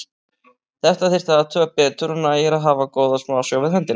Þetta þyrfti að athuga betur og nægir að hafa góða smásjá við hendina.